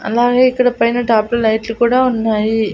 అలాగే ఇక్కడ పైన టాప్ లో లైట్లు కూడా ఉన్నాయి.